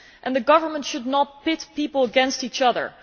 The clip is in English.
The government should not pit people against each other.